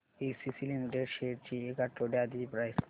ACC limited shares ची एक आठवड्या आधीची प्राइस